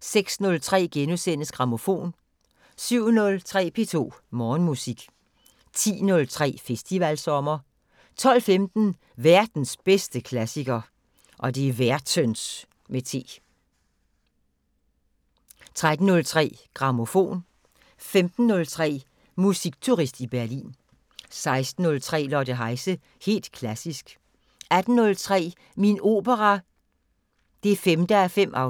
06:03: Grammofon * 07:03: P2 Morgenmusik 10:03: Festivalsommer 12:15: Værtens bedste klassiker 13:03: Grammofon 15:03: Musikturist i Berlin 16:03: Lotte Heise – helt klassisk 18:03: Min opera 5:5 –